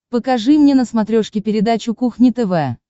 покажи мне на смотрешке передачу кухня тв